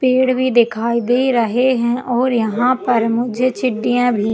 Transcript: पेड़ भी दिखाई दे रहै है और यहाँ पर मुझे चीटियां भी --